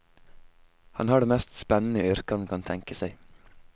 Han har det mest spennende yrket han kan tenke seg.